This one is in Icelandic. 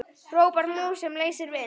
hrópar mús sem leysir vind.